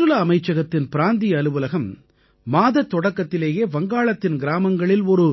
சுற்றுலா அமைச்சகத்தின் பிராந்திய அலுவலகம் மாதத் தொடக்கத்திலேயே வங்காளத்தின் கிராமங்களில் ஒரு